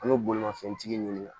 An bɛ bolimafɛntigi ɲini